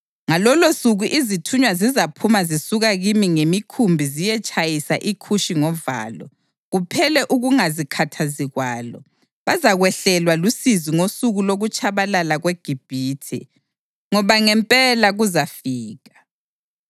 Ngalolosuku izithunywa zizaphuma zisuka kimi ngemikhumbi ziyetshayisa iKhushi ngovalo, kuphele ukungazikhathazi kwalo. Bazakwehlelwa lusizi ngosuku lokutshabalala kweGibhithe, ngoba ngempela kuzafika.